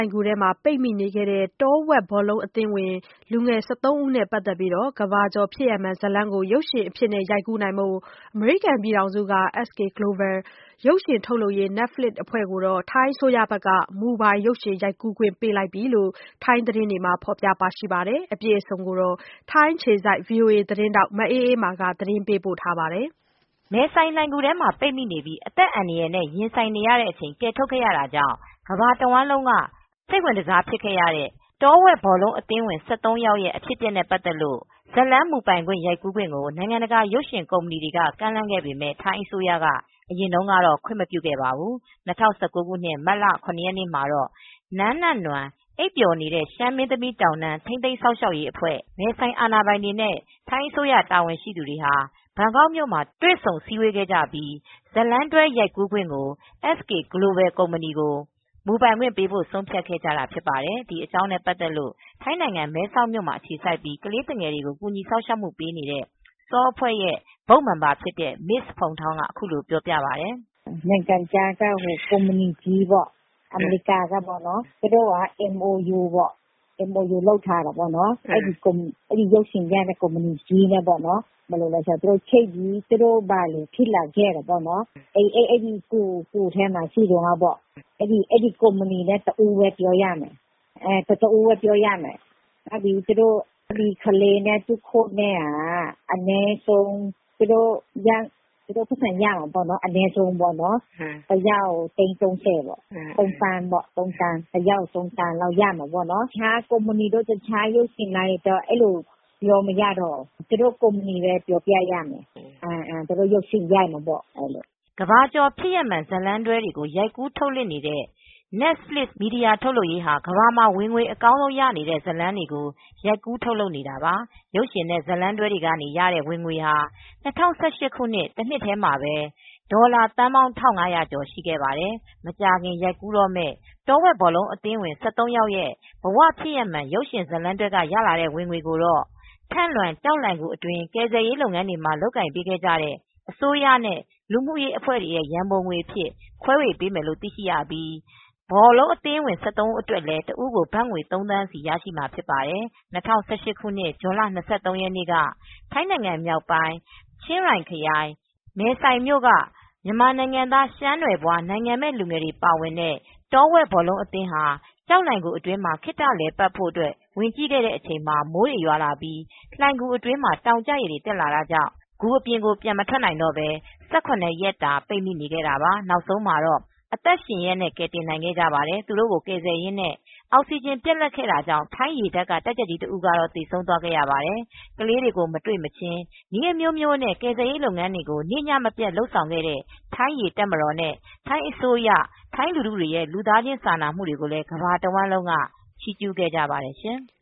ဏ်ဂူထဲမှာ ပိတ်မိခဲ့တဲ့ တောဝက်ဘောလုံး အသင်းဝင် ၁၃ ဦးနဲ့ ပတ်သက်လို့ကမ္ဘာကျော် ဖြစ်ရပ်မှန် ဇာတ်လမ်း ကို ရုပ်ရှင်အဖြစ် ရိုက်ကူးဖို့ အမေရိကန်နိုင်ငံက SK GLOBAL ရုပ်ရှင် ထုတ်လုပ်ရေး Netflix အဖွဲ့ကို ထိုင်းအစိုးရက မူပိုင်ရိုက်ကူးခွင့် ပေးလိုက်ပြီလို့ ထိုင်းသတင်းတွေမှာ ထုတ်လွှင့်နေပါတယ်။ မအေးမာက သတင်းပေးပို့ထားပါတယ်။ မဲဆိုင်လှိုဏ်ဂူထဲမှာ ပိတ်မိပြီး အသက်အန္တရာယ်နဲ့ ရင်ဆိုင်ကာ ကယ်ထုတ်ခဲ့ရတာကြောင့် ကမ္ဘာတဝှမ်းလုံးက စိတ်ဝင်တစားဆုံး ဖြစ်တဲ့ တောဝက်ဘောလုံး အသင်းဝင် ၁၃ ယောက်ရဲ့ အဖြစ်အပျက်နဲ့ ပတ်သက်လို့ ဇာတ်လမ်းမူပိုင် ရိုက်ကူးခွင့်ကို နိုင်ငံတကာ ရုပ်ရှင်ကုမ္ပဏီတွေက ကမ်းလှမ်းခဲ့ပေမယ့် ထိုင်းအစိုးရက အရင်တုန်းကတော့ ခွင့်မပြုခဲ့ပေမဲ့ ၂၀၁၉ ခုနှစ်၊ မတ်လ ၇ ရက်နေ့မှာတော့ နန်းနနွမ်း (အိပ်ပျော်နေတဲ့ ရှမ်းမင်းသမီး တောင်တန်း) ထိန်းသိမ်း စောင့်ရှောက်ရေးအဖွဲ့ မဲဆိုင်အာဏာပိုင် တွေနဲ့ ထိုင်းအစိုးရ တာဝန်ရှိသူတွေဟာ ဘန်ကောက်မြို့မှာ တွေ့ဆုံစည်းဝေးခဲ့ပြီး ဇာတ်လမ်းတွဲ ရုပ်ရှင်ရိုက်ကူးခွင့်အား SK GLOBAL ကို မူပိုင်ပေးရန် ဆုံးဖြတ်ခဲ့ကြတာ ဖြစ်ပါတယ်။ ဒီအကြောင်းနဲ့ ပတ်သက်လို့ ထိုင်းနိုင်ငံ မဲဆောက်မှာ အခြေစိုက်ပြီး ကလေးသူငယ်တွေကို ကူညီစောက်ရှောက်မှု ပေးနေတဲ့ SAW အဖွဲ့က Board Member တဦး ဖြစ်တဲ့ Mrs Phuangthong က အခုလို ပြောပြပါတယ်။ "နိုင်ငံခြားက ကုမ္ပဏီကြီးပေါ့၊ အမေရိကန်ကပေါ့။ သူတို့က MOU လုပ်ထားတယ်ပေါ့။ အဲဒီ ရုပ်ရှင်ရိုက်မယ်။ သူတို့ ဘာတွေ ဖြစ်လာခဲ့တယ်ဆိုတာ၊ အဲဒီ ဂူထဲမှာ ရှိတုန်းက ဘာတွေဖြစ်ခဲ့သလဲဆိုတာ ပြောပြရမယ်။ သူတို့ အဲဒီကုမ္ပဏီနဲ့ပဲ ပြောရမယ်။ သူတို့ နည်းပြနဲ့ ကလေးတွေက တယောက်ကို သိန်း ၃၀ ရမယ်။ ဘတ်ငွေ ၃သန်း ပေါ့။ သူများ ရုပ်ရှင်လိုင်းတွေကိုတော့ ပြောပြလို့မရတော့ဘူး။ အဲဒီ ကုမ္ပဏီကိုပဲ ပြောပြရမယ်။ သူတို့ ရုပ်ရှင်ရိုက်မယ်ပေါ့။" ကမ္ဘာကျော် ဖြစ်ရပ်မှန် ဇာတ်လမ်းတွဲတွေ ရိုက်ကူး ထုတ်လွှင့်နေတဲ့ Netflix မီဒီယာ ထုတ်လုပ်ရေးဟာ ကမ္ဘာမှာ ဝင်ငွေ အကောင်းဆုံးရနေတဲ့ ဇာတ်လမ်းတွေကို ရိုက်ကူး ထုတ်လုပ်နေတာပါ။ ရုပ်ရှင်နဲ့ ဇာတ်လမ်းတွဲတွေက ရတဲ့ ဝင်ငွေဟာ ၂၀၁၈ တစ်နှစ်ထဲ ဝင်ငွေဟာ အမေရိကန် ဒေါ်လာ ၁၅.၇၉၄ ဘီလျံ (ဒေါ်လာ သန်းပေါင်း ၁၅၀၀ ကျော်) ရှိပါတယ်။ မကြာခင် ရိုက်ကူးတော့မယ့် တောဝက် ဘောလုံးအသင်းဝင် ၁၃ ယောက် ရဲ့ ဘ၀ ဖြစ်ရပ်မှန် ရုပ်ရှင်ဇာတ်လမ်းတွဲက ရလာတဲ့ ဝင်ငွေကို ထန့်လွင် ကျောက်လှိုဏ်ဂူ အတွင်း ကယ်ဆယ်ရေး လုပ်ငန်းတွေ လုပ်ကိုင်ပေးခဲ့တဲ့ အစိုးရနဲ့လူမှုရေး အဖွဲ့တွေကို ရန်ပုံငွေအဖြစ် ခွဲပေးမယ်လို့ သိရပြီး တောဝက်ဘောလုံး အသင်းဝင် ၁၃ ဦးအတွက်လည်း တစ်ဦးကို ဘတ်ငွေ ၃ သန်းစီရမှာ ဖြစ်ပါတယ်။ ၂၀၁၈ ခုနှစ် ဇွန်လ ၂၃ ရက်နေ့က ထိုင်းမြောက်ပိုင်း ချင်းရိုင်ခရိုင် မဲဆိုင်မြို့က မြန်မာနိုင်ငံသား ရှမ်းနွယ်ဖွား နိုင်ငံမဲ့ လူငယ်တွေ ပါဝင်တဲ့ တောဝက်ဘောလုံး အသင်းဟာ ကျောက်လှိုဏ်ဂူအတွင်း ခေတ္တလည်ပတ်ဖို့ ဝင်ကြည့်ခဲ့တဲ့အချိန် မိုးတွေရွာလာပြီး လှိုဏ်ဂူအတွင်းမှာ တောင်ကျရေတွေ တက်လာတာကြောင့် ဂူပြင်ကို ပြန်မထွက်နိုင်တော့ပဲ ၁၇ ရက်တာ ပိတ်မိနေခဲ့ကြတာပါ။ နောက်ဆုံး အသက်ရှင်ရက် ကယ်တင်နိုင်ခဲ့ပါတယ်။ သူတို့ကို ကယ်ဆယ်ရင်းနဲ့ အောက်စီဂျင် ပြတ်လပ်ခဲ့တာကြောင့် ထိုင်းရေတပ်က တပ်ကြပ်ကြီး တဦးကတော့ သေဆုံးသွားခဲ့ရပါတယ်။ ကလေးတွေကို မတွေ့မချင်း နည်းအမျိုးမျိုးနဲ့ ကယ်ဆယ်ရေး လုပ်ငန်းတွေကို နေ့ညမပြတ် လုပ်ခဲ့တဲ့ ထိုင်း ရေတပ်မတော်နဲ့ ထိုင်းအစိုးရရဲ့ ထိုင်းလူထုတွေရဲ့ လူသားချင်း စာနာမူတွေကိုလည်း ကမ္ဘာတဝှမ်းလုံးက ချီးကျူးခဲ့ကြပါတယ်ရှင်။